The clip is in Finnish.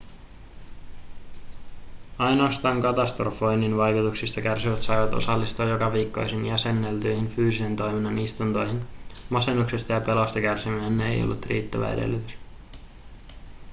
ainoastaan katastrofoinnin vaikutuksista kärsivät saivat osallistua jokaviikkoisiin jäsenneltyihin fyysisen toiminnan istuntoihin masennuksesta ja pelosta kärsiminen ei ollut riittävä edellytys